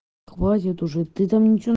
хватит уже ты там ничего